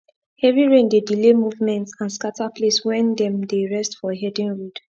heavy rain dey delay movement and scatter place wen them dey rest for herding road